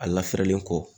A lafiyalen kɔ